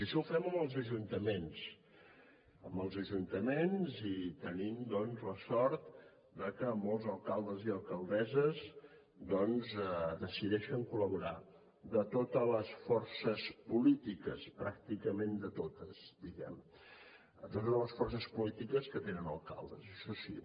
i això ho fem amb els ajuntaments i tenim doncs la sort de que molts alcaldes i alcaldesses decideixen col·laborar hi de totes les forces polítiques pràcticament de totes diguem ne de totes les forces polítiques que tenen alcaldes això sí